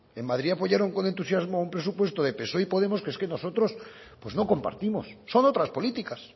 en madrid apoyaron con entusiasmo un presupuesto de psoe y podemos que es que nosotros pues no compartimos son otras políticas